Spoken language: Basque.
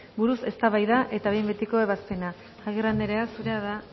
buruz eztabaida eta behin betiko ebazpena agirre andrea zurea da